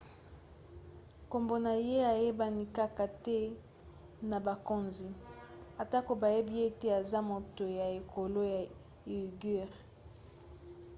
nkombo na ye eyebani kaka te na bakonzi atako bayebi ete aza moto ya ekolo ya uighur